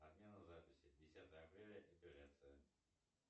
отмена записи десятое апреля эпиляция